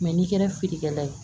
n'i kɛra feerekɛla ye